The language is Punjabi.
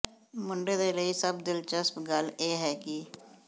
ਮੁੰਡੇ ਦੇ ਲਈ ਸਭ ਦਿਲਚਸਪ ਗੱਲ ਇਹ ਹੈ ਕਿ